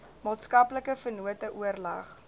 maatskaplike vennote oorleg